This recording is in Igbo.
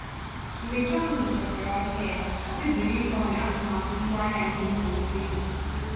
mgbe john nyochachara ahịa o kpebiri ịgbanwe atụmatụ ngwaahịa nke mmalite ya.